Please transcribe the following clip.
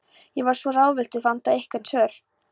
Ég var svo ráðvilltur, vantaði einhver svör.